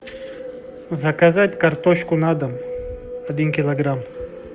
заказать картошку на дом один килограмм